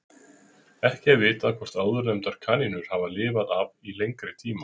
Ekki er vitað hvort áðurnefndar kanínur hafi lifað af í lengri tíma.